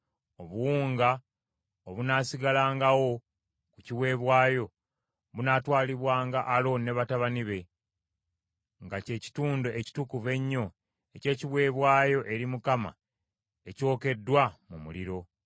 Obuwunga obunaasigalangawo ku kiweebwayo, bunaatwalibwanga Alooni ne batabani be, nga kye kitundu ekitukuvu ennyo eky’ekiweebwayo eri Mukama ekyokeddwa mu muliro.